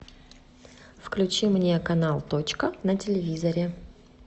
включи мне канал точка на телевизоре